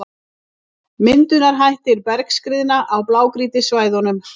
Myndunarhættir bergskriðna á blágrýtissvæðunum.